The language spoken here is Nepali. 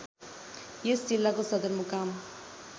यस जिल्लाको सदरमुकाम